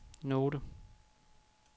note